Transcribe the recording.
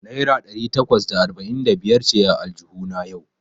Naira ɗari takwas da arba'in da biyar ce a aljuhuna yau.